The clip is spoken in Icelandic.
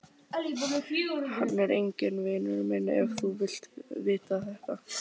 Hann er enginn vinur minn ef þú vilt vita það.